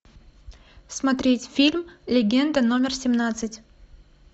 смотреть фильм легенда номер семнадцать